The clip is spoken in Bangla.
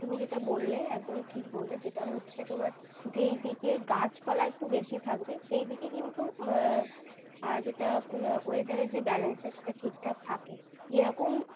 তুমি যেটা বললে একদম ঠিক বললে। সেটা হচ্ছে তোমার যেই দিকে গাছপালা একটু বেশি থাকবে সেই দিকে কিন্তু যেটা weather এর যে balance সেটা ঠিকঠাক থাকে। যেরকম